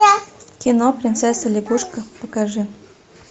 кино принцесса лягушка покажи